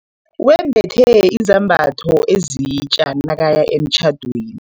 Wembethe izambatho ezitja nakaya emtjhadweni.